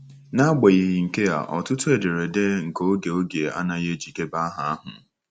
N’agbanyeghị nke a, ọtụtụ ederede nke oge oge a anaghị ejikebe aha ahụ.